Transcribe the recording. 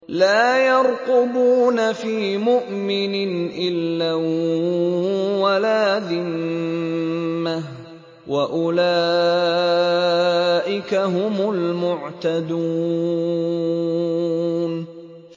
لَا يَرْقُبُونَ فِي مُؤْمِنٍ إِلًّا وَلَا ذِمَّةً ۚ وَأُولَٰئِكَ هُمُ الْمُعْتَدُونَ